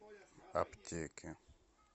аптеки